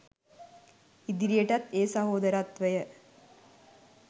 ඉදිරියටත් ඒ සහෝදරත්වය